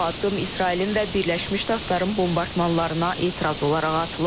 Bu addım İsrailin və Birləşmiş Ştatların bombardmanlarına etiraz olaraq atılıb.